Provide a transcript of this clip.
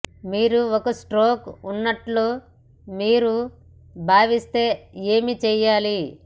మీరు ఒక స్ట్రోక్ ఉన్నట్లు మీరు భావిస్తే ఏమి చేయాలి